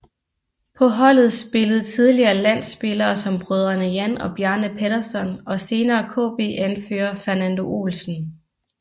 På holdet spillede tidligere landspillere som brødrene Jan og Bjarne Pettersson og senere KB anfører Fernando Olsen